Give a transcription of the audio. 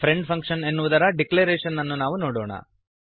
friend function ಎನ್ನುವುದರ declaration ಅನ್ನು ನಾವು ನೋಡೋಣ